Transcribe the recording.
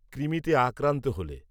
কৃমিতে আক্রান্ত হলে